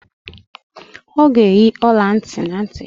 Ọ ga-eyi ọla ntị na ntị ya